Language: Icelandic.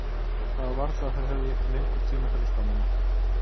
Það var varla að þeir hefðu lengur tíma til að skamma mann.